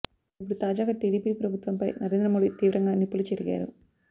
ఇపుడు తాజాగా టీడీపీ ప్రభుత్వం పై నరేంద్ర మోడీ తీవ్రంగా నిప్పులు చెరిగారు